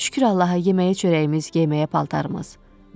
Şükür Allaha yeməyə çörəyimiz, geyməyə paltarımız.